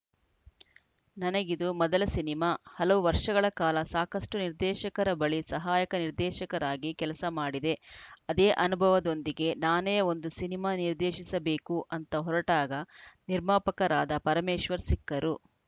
ನನಗಿದು ಮೊದಲ ಸಿನಿಮಾ ಹಲವು ವರ್ಷಗಳ ಕಾಲ ಸಾಕಷ್ಟುನಿರ್ದೇಶಕರ ಬಳಿ ಸಹಾಯಕ ನಿರ್ದೇಶಕನಾಗಿ ಕೆಲಸ ಮಾಡಿದೆ ಅದೇ ಅನುಭವದೊಂದಿಗೆ ನಾನೇ ಒಂದು ಸಿನಿಮಾ ನಿರ್ದೇಶಿಸಬೇಕು ಅಂತ ಹೊರಟಾಗ ನಿರ್ಮಾಪಕರಾದ ಪರಮೇಶ್ವರ್‌ ಸಿಕ್ಕರು